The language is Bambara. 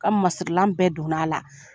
Ka masirilan bɛɛ donna a la.